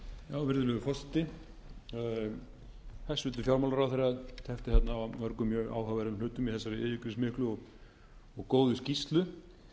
virðulegur forseti hæstvirtur fjármálaráðherra tæpti þarna á mörgum mjög áhugaverðum hlutum í þessari yfirgripsmiklu og góðu skýrslu